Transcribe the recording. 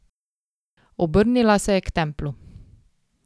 Obrnila se je k Templu.